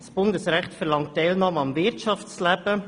Das Bundesrecht verlangt die Teilnahme am Wirtschaftsleben.